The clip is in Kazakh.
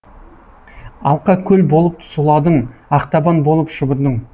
алқа көл болып сұладың ақтабан болып шұбырдың